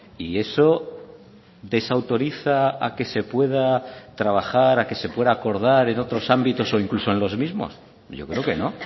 y eso desautoriza a que se pueda trabajar a que se pueda acordar en otros ámbitos o incluso en los mismos yo creo que no